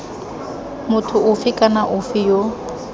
motho ofe kana ofe yo